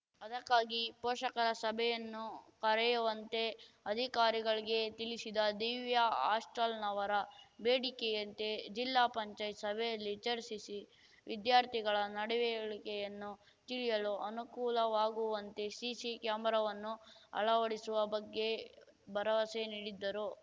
ಅದಕ್ಕಾಗಿ ಪೋಷಕರ ಸಭೆಯನ್ನು ಕರೆಯುವಂತೆ ಅಧಿಕಾರಿಗಳಿಗೆ ತಿಳಿಸಿದ ದಿವ್ಯಾ ಹಾಸ್ಟೆಲ್‌ನವರ ಬೇಡಿಕೆಯಂತೆ ಜಿಲ್ಲಾ ಪಂಚಾಯತ್ ಸಭೆಯಲ್ಲಿ ಚರ್ಚಿಸಿ ವಿದ್ಯಾರ್ಥಿಗಳ ನಡವೆಳಿಕೆಯನ್ನು ತಿಳಿಯಲು ಅನುಕೂಲವಾಗುವಂತೆ ಸಿಸಿ ಕ್ಯಾಮರಾವನ್ನು ಅಳವಡಿಸುವ ಬಗ್ಗೆ ಭರವಸೆ ನೀಡಿದ್ದರು